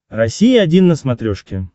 россия один на смотрешке